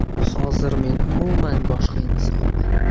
Hozir men umuman boshqa insonman.